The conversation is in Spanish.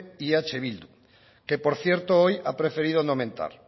y eh bildu que por cierto hoy ha preferido no mentar